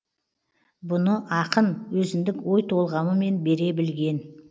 бұны ақын өзіндік ой толғамымен бере білген